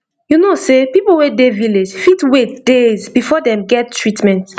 you know sey people wey dey village fit wait days before dem get treatment